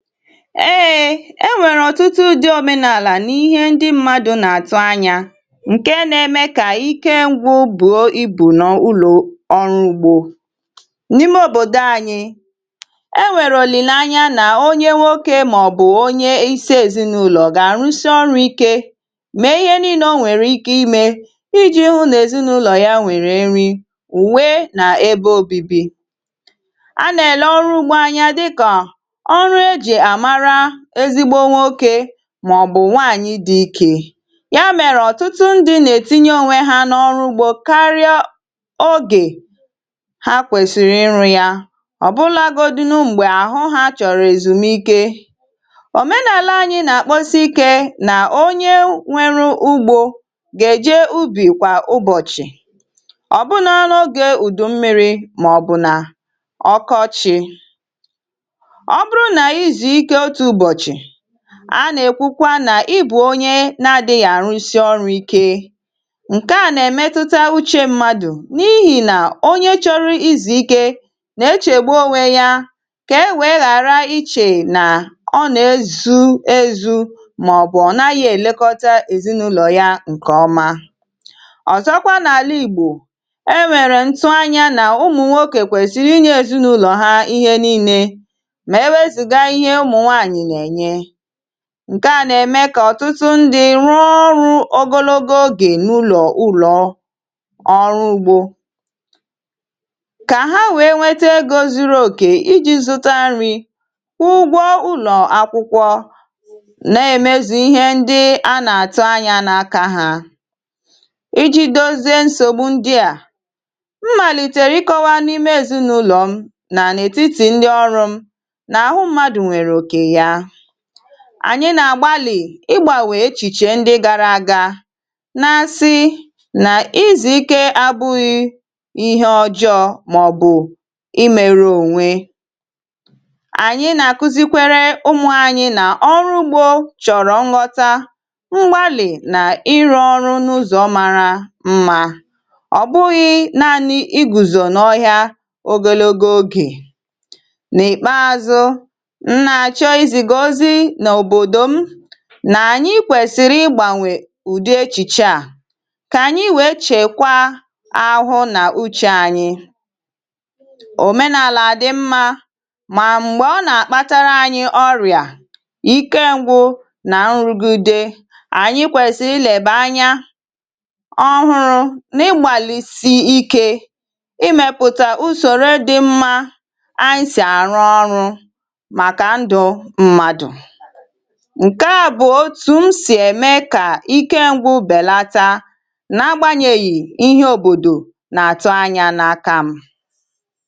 eėė e nwèrè ọ̀tụtụ ụdị òmenàlà n’ihe ndị mmadụ̇ nà-àtụ anyȧ ǹke nȧ-eme kà ike ṅgwụ bùo ibù n’ụlọ̀ ọrụ ugbȯ n’ime òbòdo anyị̇ e nwèrè òlìleanya nà onye nwokė màọ̀bụ̀ onye isi èzinaụlọ̀ gà-àrụsị ọrụ̇ ike mèe ihe nii̇nȧ o nwèrè ike imė iji̇ hụ nà èzinaụlọ̀ ya nwèrè nri ùwe nà ebe obibi a nà-èle ọrụ ugbȯ anyȧ dịkà ọrụ eji amara ezigbo nwoke màọ̀bụ̀ nwaànyị̀ dị ikė ya mèrè ọ̀tụtụ ndị̇ nà-ètinye onwe ha n’ọrụ ugbȯ karịa ogè ha kwesịrị ịrụ̇ ya ọ̀bụlȧgȯdịnụ m̀gbè àhụ ha chọ̀rọ̀ èzùmike òmenàla anyị̇ nà-àkpọsi ike nà onye nwėrė ugbȯ gà-èje ubì kwà ụbọ̀chị̀ ọ̀ bụna n’ogė ùdù mmi̇ri̇ màọ̀bụ̀ nà ọkọchị̇ ọ bụrụ na ị zụọ ike otu ụbọchị a nà-èkwukwa nà ịbụ̇ onye na-ȧdịghị̀ àrụsi ọrụ̇ ike ǹkè a nà-èmetụta uchė mmadụ̀ n’ihì nà onye chọrọ izù ike nà-echègbu owe ya kà e wèe ghàra ichè nà ọ nà-ezu ezu mà ọ̀bụ̀ ọ̀ naghị̇ èlekọta èzinaụlọ̀ ya ǹkè ọma ọ̀zọkwa n’àla ìgbò e nwèrè ntu anyȧ nà ụmụ̀nwokė kwèsịrị ịnyė èzinaụlọ̀ ha ihe nii̇nė ma ewezuga ihe ụmụnwanyị Na-Enye ǹke à nà-ème kà ọ̀tụtụ ndị rụọ ọrụ̇ ogologo ogè n’ụlọ̀ ụlọ̇ ọrụ ugbȯ kà ha nwèe nwete egȯ zuru òkè iji̇ zụta nri̇ kwụọ ụgwọ ụlọ̀ akwụkwọ nà-èmezù ihe ndị a nà-àtụ anyȧ n’aka hȧ iji̇ dozie nsògbu ndị à mmàlìtère ịkọwa n’ime ezinụ̇lọ̀ m nà n’ètitì ndị ọrụ̇ m na ahụ mmadụ nwere oke ya ànyị nà-àgbalị̀ ịgbànwè echìche ndị gara aga na-asị nà izùikė àbụghị ihe ọjọọ̇ màọ̀bụ̀ ịmėrė ònwe ànyị nà-àkụzikwere ụmụ̇ anyị nà ọrụ ugbȯ chọ̀rọ̀ ṅghọta ngbalị̀ nà ịrụ ọrụ n’ụzọ̀ mara mà ọ̀ bụghị naanị̇ ịgùzò n’ọhịa ogologo ogè n’ìkpeazụ̇ m na-achọ iziga ozi n’òbòdò m nà ànyị kwèsịrị ịgbànwè ụ̀dị echìche à kà ànyị wèe chèkwaa ahụhụ nà uchė ànyị òmenàlà dị mmȧ mà m̀gbè ọ nà-àkpatara ànyị ọrịà ike ngwụ nà nrụgide ànyị kwèsịrị ịlèbè anya ọhụrụ n’ịgbàlị̀sì ike ịmèpụ̀ta usòrò dị mmȧ anyị sị̀ àrụ ọrụ ǹke à bụ̀ otù m sì ème kà ike ṅgwu̇ bèlàta n’agbȧnyèghi̇ ihe òbòdò nà-àtụ anyȧ n’aka m